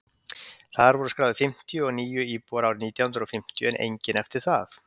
þar voru skráðir fimmtíu og níu íbúar árið nítján hundrað fimmtíu en enginn eftir það